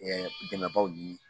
dɛmɛbaw ni